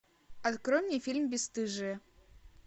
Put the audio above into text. открой мне фильм бесстыжие